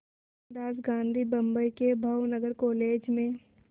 मोहनदास गांधी बम्बई के भावनगर कॉलेज में